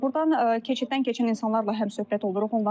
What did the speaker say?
Burdan keçiddən keçən insanlarla həmsöhbət oluruq.